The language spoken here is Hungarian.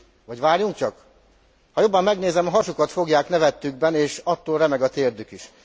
Vagy várjunk csak, ha jobban megnézem, a hasukat fogják nevettükben, és attól remeg a térdük is.